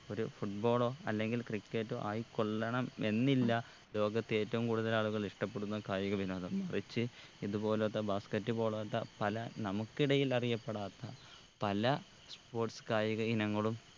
ഒരു football ഓ അല്ലെങ്കിൽ cricket ഓ ആയി കൊള്ളണം എന്നില്ല ലോകത്തെ ഏറ്റവും കൂടുതൽ ആളുകൾ ഇഷ്ട്ടപെടുന്ന കായിക വിനോദം മറിച്ച് ഇതുപോലോത്ത basket പോലോത്ത പല നമുക്കിടയിൽ അറിയപ്പെടാത്ത പല sports കായിക ഇനങ്ങളും